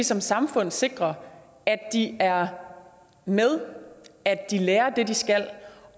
som samfund sikre at de er med at de lærer det de skal